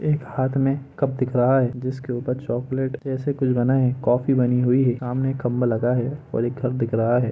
एक हाथ में कप दिख रहा है जिसके ऊपर चोकलेट जैसा कूछ बना है कॉफ़ी बनी हुई है सामने एक खम्बा लगा हुआ है और एक घर दिख रहा है।